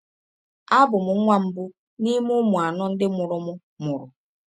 Abụ m nwa mbụ n’ime ụmụ anọ ndị mụrụ m mụrụ.